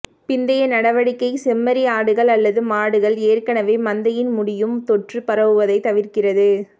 பிந்தைய நடவடிக்கை செம்மறி ஆடுகள் அல்லது மாடுகள் ஏற்கனவே மந்தையின் முடியும் தொற்று பரவுவதை தவிர்க்கிறது